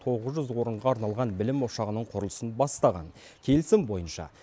тоғыз жүз орынға арналған білім ошағының құрылысын бастаған келісім бойынша